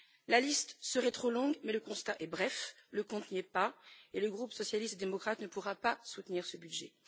La liste serait trop longue, mais le constat est bref le compte n'y est pas et le groupe des socialistes et démocrates ne pourra pas soutenir ce budget.